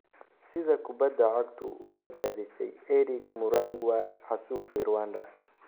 sida kubbada cagtu u badbaadisay Eric Murangwa xasuuqii Rwanda